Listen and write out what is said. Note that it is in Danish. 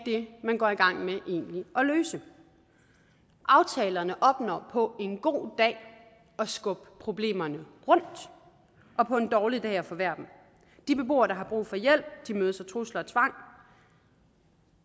er det man går i gang med egentlig at løse aftalerne opnår på en god dag at skubbe problemerne rundt og på en dårlig dag at forværre dem de beboere der har brug for hjælp mødes af trusler og tvang